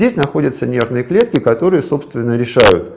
здесь находятся нервные клетки которые собственно решают